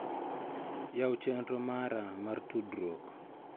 Yaw chenro mara mar tudruok.